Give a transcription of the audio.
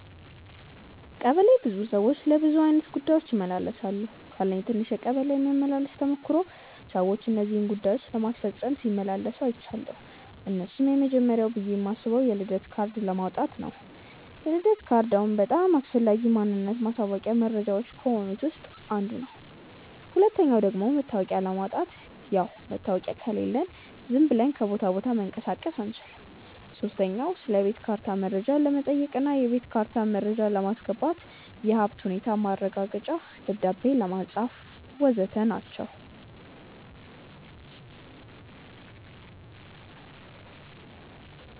ቀበሌ ብዙ ሰዎች ለብዙ አይነት ጉዳዮች ይመላለሳሉ። ካለኝ ትንሽ የቀበሌ መመላለስ ተሞክሮ ሰዎች እነዚህን ጉዳዮች ለማስፈጸም ሲመላለሱ አይችያለው። እነርሱም፦ የመጀመርያው ብዬ ማስበው የልደት ካርድ ለማውጣት ነው፤ የልደት ካርድ አሁን በጣም አስፈላጊ ማንነት ማሳወቂያ መረጃዎች ከሆኑት ውስጥ አንዱ ነው። ሁለተኛው ደግሞ መታወቂያ ለማውጣት፣ ያው መታወቂያ ከሌለን ዝም ብለን ከቦታ ቦታ መንቀሳቀስ አንችልም። ሶስተኛ ስለቤት ካርታ መረጃ ለመጠየቅ እና የቤት ካርታ መረጃ ለማስገባት፣ የሀብት ሁኔታ ማረጋገጫ ደብዳቤ ለማጻፍ.... ወዘተ ናቸው።